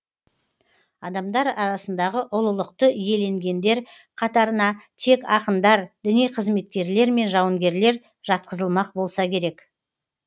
адамдар арасындағы ұлылықты иеленгендер қатарына тек ақындар діни қызметкерлер мен жауынгерлер жатқызылмақ болса керек